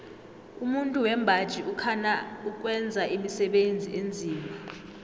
umuntu wembaji ukhana ukwenza imisebenzi enzima